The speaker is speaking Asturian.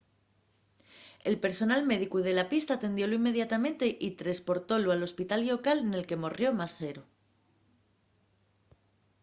el personal médico de la pista atendiólu inmediatamente y tresportólu al hospital llocal nel que morrió más sero